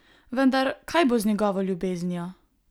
Vendar, kaj bo z njegovo ljubeznijo?